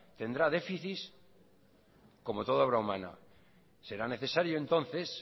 tendrá déficit como toda obra humana será necesario entonces